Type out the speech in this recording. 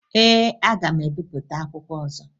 Ee, aga m ebipụta akwụkwọ ọzọ